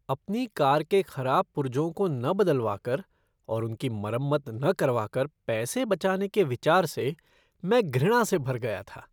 अपनी कार के खराब पुर्जों को न बदलवा कर और उनकी मरम्मत न करवा कर पैसे बचाने के विचार से मैं घृणा से भर गया था।